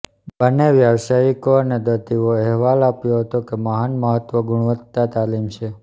બંને વ્યાવસાયિકો અને દર્દીઓ અહેવાલ આપ્યો હતો કે મહાન મહત્વ ગુણવત્તા તાલીમ છે